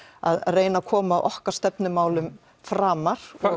að reyna að koma okkar stefnumálum framar